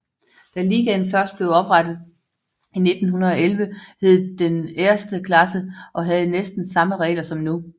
Da ligaen først blev oprettet i 1911 hed denne Erste Klasse og havde næsten samme regler som nu